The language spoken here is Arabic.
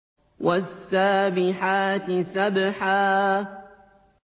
وَالسَّابِحَاتِ سَبْحًا